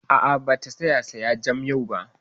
A'a, ba ta saya jam yau ba